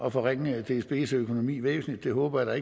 at forringe dsbs økonomi væsentligt det håber jeg